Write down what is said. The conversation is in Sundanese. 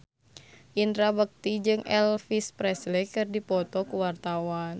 Indra Bekti jeung Elvis Presley keur dipoto ku wartawan